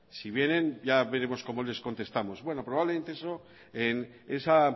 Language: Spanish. si vienen ya veremos cómo les contestamos bueno probablemente eso en esa